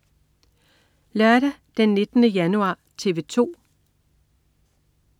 Lørdag den 19. januar - TV 2: